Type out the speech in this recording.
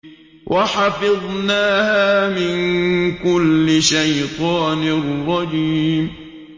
وَحَفِظْنَاهَا مِن كُلِّ شَيْطَانٍ رَّجِيمٍ